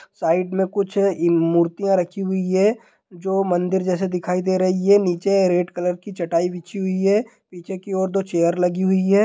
Side मे कुछ मूर्तिया रखी हुई है जो मंदिर जैसे दिखाई दे रही है| नीचे रेड कलर की चटाई बिछी हुई है| पीछे की और दो चेयर लगी हुई हैं ।